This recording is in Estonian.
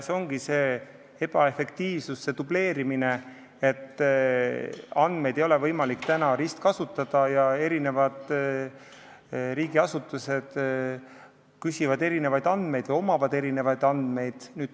See ongi see ebaefektiivsus, see dubleerimine, et andmeid ei ole võimalik ristkasutada ja riigiasutused küsivad erinevaid andmeid ja neil on erinevad andmed.